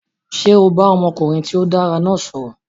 Ṣé o bá ọmọkùnrin tí ó dára náà sọ̀rọ̀?